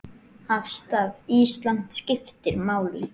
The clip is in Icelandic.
Afstaða Íslands skiptir máli.